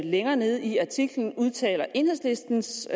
længere nede i artiklen udtaler enhedslistens